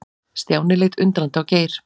Stjáni leit undrandi á Geir.